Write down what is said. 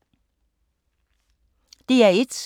DR1